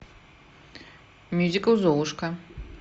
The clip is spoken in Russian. мюзикл золушка